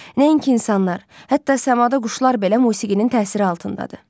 Nəinki insanlar, hətta səmada quşlar belə musiqinin təsiri altındadır.